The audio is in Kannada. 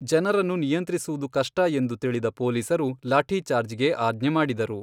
ಜನರನ್ನು ನಿಯಂತ್ರಿಸುವುದು ಕಷ್ಟ ಎಂದು ತಿಳಿದ ಪೋಲೀಸರು ಲಾಠೀಛಾರ್ಜ್ ಗೆ ಆಜ್ಞೆ ಮಾಡಿದರು.